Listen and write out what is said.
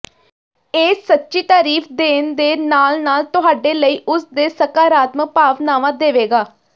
ਇਹ ਸੱਚੀ ਤਾਰੀਫ ਦੇਣ ਦੇ ਨਾਲ ਨਾਲ ਤੁਹਾਡੇ ਲਈ ਉਸ ਦੇ ਸਕਾਰਾਤਮਕ ਭਾਵਨਾਵਾਂ ਦੇਵੇਗਾ